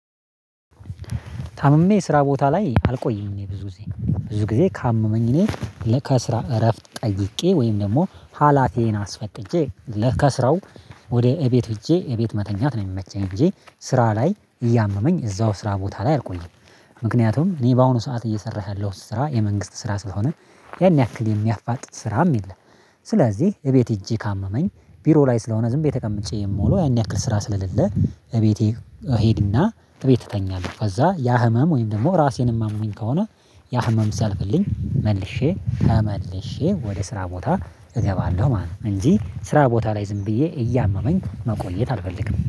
ታምሜ ስራ ቦታ ላይ አልቆይም እኔ ብዙ ጊዜ ብዙ ጊዜ ካመመኝ እኔ ከስራ እረፍት ጠይቄ ወይም ደግሞ ሀላፊዬን አስፈቅጄ ከስራው ወደ ቤት ሄጄ ቤት መተኛት ነው የሚመቸኝ እንጂ ስራ ላይ እያመመኝ እዛው ስራ ቦታ ላይ አልቆየም። ምክንያቱም እኔ በአሁኑ ሰዓት እየሰራህ ያለሁት ስራ የመንግስት ስራ ስለሆነ ያን ያክል የሚያፋጥን ስራም የለም። ስለዚህ ቤት ሄጄ ካመመኝ ቢሮ ላይ ስለሆነ ዝምብዬ ተቀምጨ የምውለው ያን ያክል ስራ ስለሌለ ቤቴ እሄድና ቤት እተኛለሁ። ከዛ ያ ህመም ወይም ደግሞ ራሴንም አሞኝ ከሆነ ያ ህመም ሲያልፍልኝ መልሼ ተመልሼ ወደ ስራ ቦታ እገባለሁ ማለት ነው። እንጂ ስራ ቦታ ላይ ዝም ብዬ እያመመኝ መቆየት አልፈልግም